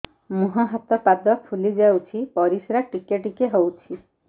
ମୁହଁ ହାତ ପାଦ ଫୁଲି ଯାଉଛି ପରିସ୍ରା ଟିକେ ଟିକେ ହଉଛି